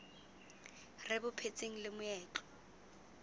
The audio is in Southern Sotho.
re bo phetseng le meetlo